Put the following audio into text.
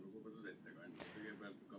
Lugupeetud ettekandja!